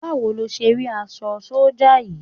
Báwo ni o ṣé rí aṣọ sọ́jà yìí?